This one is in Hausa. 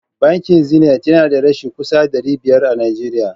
Bankin zenit na da reshe kusan dari biyar a najeriya